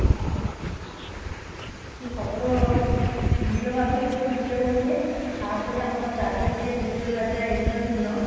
ସେ ଶବର ନୀଳମାଧବ ରୂପରେ ପୂଜା ପାଉଥିଲେ |ତାପରେ ଆମର ରାଜା ଯିଏ ପୂରୀ ର ରାଜା ଇନ୍ଦ୍ରଦୁମ୍ନ